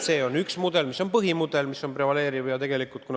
See on üks mudel, mis on põhimudel, prevaleeriv mudel.